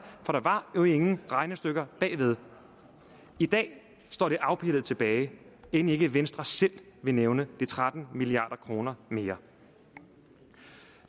for der var jo ingen regnestykker bagved i dag står det afpillet tilbage end ikke venstre selv vil nævne de tretten milliard kroner mere